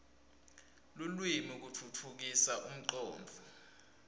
lulwimi kutfutfukisa imicondvo